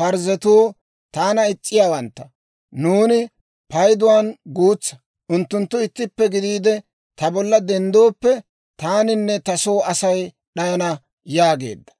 Parzzetuu taana is's'anawantta; nuuni payduwaan guutsa; unttunttu ittippe gidiide ta bolla denddooppe, taaninne ta soo Asay d'ayana» yaageedda.